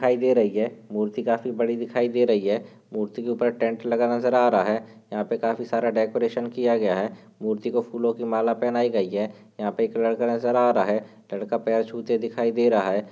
खाई दे रही है मूर्ति काफी बड़ी दिखाई दे रही है। मूर्ति के ऊपर टेंट लगा नजर आ रहा है यहा पे काफी सारा डेकोरेशन किया गया है। मूर्ति को फूलों की मला पहनाई गयी है यहा पे एक लड़का नजर आ रहा है। लड़का पैर छूते दिखाई दे रहा है।